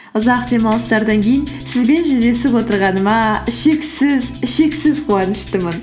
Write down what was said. ұзақ демалыстардан кейін сізбен жүздесіп отырғаныма шексіз шексіз қуаныштымын